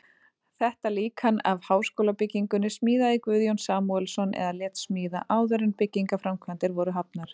Þetta líkan af háskólabyggingunni smíðaði Guðjón Samúelsson eða lét smíða, áður en byggingarframkvæmdir voru hafnar.